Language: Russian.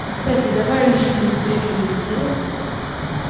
кстати давай личную встречу мне сделай